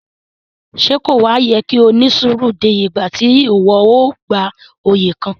Ṣe ko wa yẹ ki o ni suru dé ìgbà ti iwọ a gbà oyè kàn?